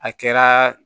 A kɛra